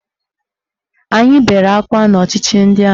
Anyị bere akwa n'ọchịchị ndị amị